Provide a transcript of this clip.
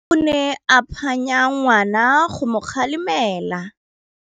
Rre o ne a phanya ngwana go mo galemela.